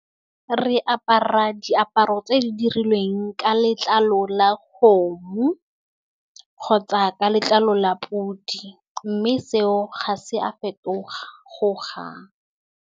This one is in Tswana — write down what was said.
Re apara diaparo tse di dirilweng ka letlalo la kgomo, kgotsa ka letlalo la pudi, mme seo ga se a fetoga-goga.